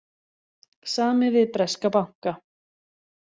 Samið við breska banka